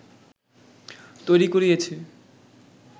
তৈরি করিয়েছে